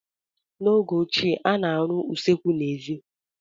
N'oge ochie, a na-arụ usekwu n'èzí.